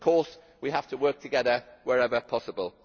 Of course we have to work together wherever possible.